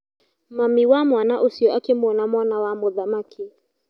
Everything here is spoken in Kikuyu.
Mami wa mwana ũcio akĩmwona mwana wa mũthamaki.